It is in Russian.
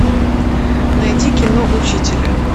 найди кино учителя